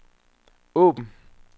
åben